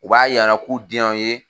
U b'a yir'an na k'u den y'an ye